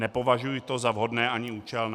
Nepovažuji to za vhodné ani účelné.